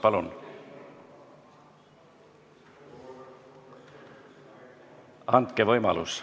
Palun!